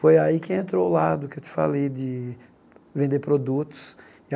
Foi aí que entrou o lado, que eu te falei de vender produtos.